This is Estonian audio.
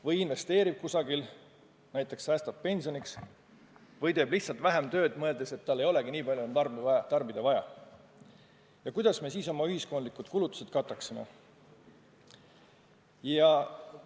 Või investeerib kusagil, näiteks säästab pensioniks või teeb lihtsalt vähem tööd, mõeldes, et tal ei ole enam nii palju tarbida vaja – kuidas me siis oma ühiskondlikud kulutused kataksime?